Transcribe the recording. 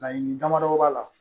Laɲini damadɔ b'a la